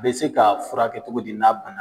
bɛ se ka furakɛ cogo di n'a bana